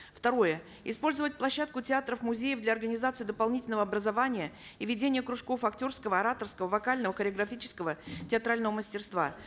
второе использовать площадку театров музеев для организации дополнительного образования и ведения кружков актерского ораторского вокального хореографического театрального мастерства